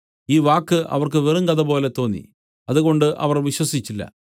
ഈ വാക്ക് അവർക്ക് വെറും കഥപോലെ തോന്നി അതുകൊണ്ട് അവർ വിശ്വസിച്ചില്ല